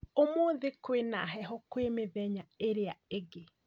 ũmũthĩ kwĩna heho kwĩ mithenya ĩrĩa ĩngĩ